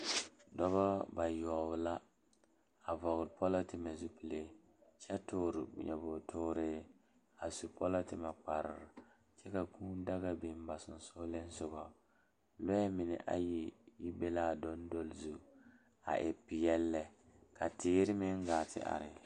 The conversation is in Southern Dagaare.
Dɔɔba bayoɔbo la are ka bamine su kpare wogre ka bamine su kpare ziiri ka bamine su kpare sɔglɔ ka bamine seɛ kuri wogre ka ba de sabulɔ a tuŋ e peɛle lɛ ka teere meŋ gaa te are.